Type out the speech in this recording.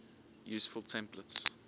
useful templates